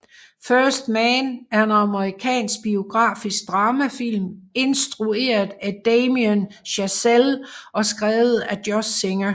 First Man er en amerikansk biografisk dramafilm instrueret af Damien Chazelle og skrevet af Josh Singer